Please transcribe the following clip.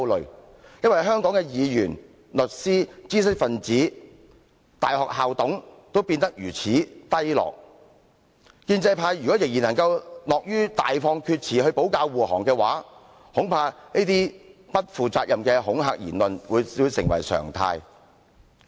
因為他身為香港的議員、律師、知識分子及大學校董的水平也變得如此低落，建制派如果仍然樂於大放厥詞來保駕護航，恐怕這些不負責的恐嚇言論會成為常態。